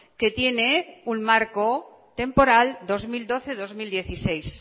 que tiene un marco temporal dos mil doce dos mil dieciséis